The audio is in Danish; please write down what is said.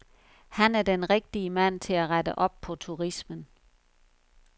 Han er den rigtige mand til at rette op på turismen.